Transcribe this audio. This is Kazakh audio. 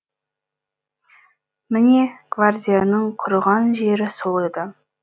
міне гвардияның құрыған жері сол еді